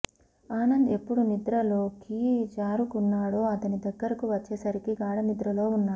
ఆనంద్ ఎప్పుడు నిద్రలోకి జారుకున్నాడో అతని దగ్గరకు వచ్చేసరికి గాఢనిద్రలో ఉన్నాడు